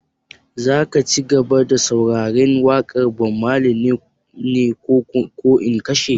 Za ka cigaba da sauraren waƙar Bob Marley ne ko in kashe?